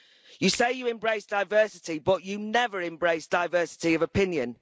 You say you embrace diversity, but you never embrace diversity of opinion.